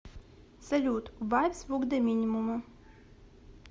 салют убавь звук до минимума